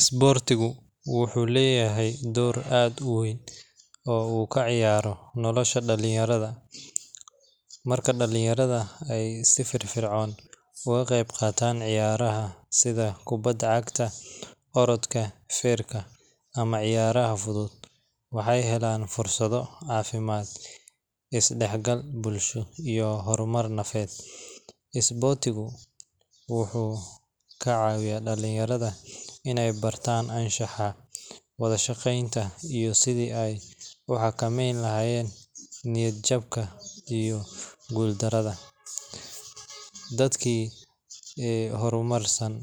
Isboortigu wuxuu leyahay door aad uweyn, marka dalinyarada ka qeyb qaatan ciyaaraha, waxeey helaan is dexgal, isboortigu wuxuu kacawiya dalinyarada inaay bartaan wadajir, dadki hormarsan